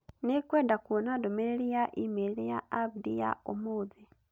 Nĩngwenda kuona ndũmĩrĩri ya e-mail ya Abdi ya ũmũthĩ.